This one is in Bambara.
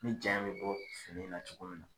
Ni ja in bɛ bɔ fini in na cogo min na